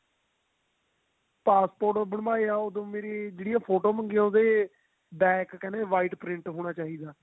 passport ਬਣਵਾਇਆ ਓਦੋਂ ਜਿਹੜੀ ਮੇਰੀਆਂ ਫੋਟੋ ਮੰਗੀਆਂ ਉਹਦੇ back ਕਹਿੰਦੇ white print ਹੋਣਾ ਚਾਹੀਦਾ